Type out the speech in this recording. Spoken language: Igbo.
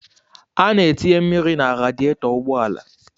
A na-etinye mmiri na radietọ ụgbọala.